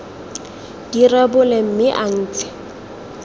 di rebole mme a ntshe